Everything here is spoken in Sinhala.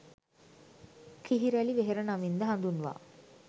කිහිරැළි වෙහෙර නමින්ද හඳුන්වා